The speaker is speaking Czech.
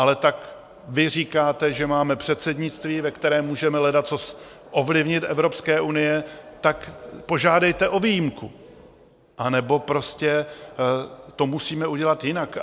Ale tak vy říkáte, že máme předsednictví, ve kterém můžeme ledacos ovlivnit u Evropské unie, tak požádejte o výjimku, anebo prostě to musíme udělat jinak.